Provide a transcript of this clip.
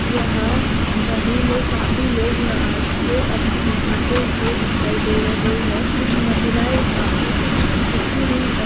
यहाँ नदी मे काफी लोग नाहत के अप नहाते हुए दिखाई दे रहे है। कुछ महिला यहाँ पे कुछ झुकी हुई त--